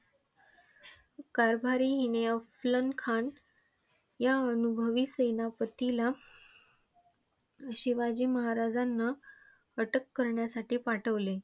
कारभारी अस्लम खान ह्या अनुभवी सेनापतीला शिवाजी महाराजांना अटक करण्यासाठी पाठविले.